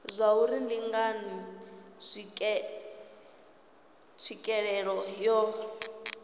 zwauri ndi ngani tswikelelo yo